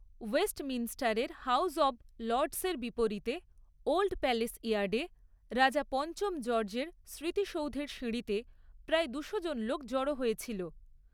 ওয়েস্টমিনস্টারের house of লর্ডসের বিপরীতে old palace ইয়ার্ডে রাজা পঞ্চম জর্জের স্মৃতিসৌধের সিঁড়িতে প্রায় দুশোজন লোক জড়ো হয়েছিল।